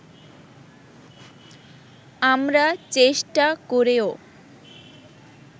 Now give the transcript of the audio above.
আমরা চেষ্টা করেও